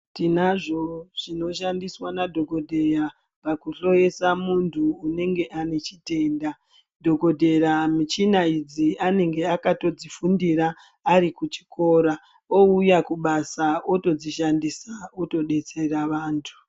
Tinazvowo zvino shandiswa na dhokoteya paku hloyesa muntu unenge ane chitenda dhokoteya mishina idzi anenge akatodzi fundira ari kuchikora uuya kubasa oto dzishandisa oto detsera vantu.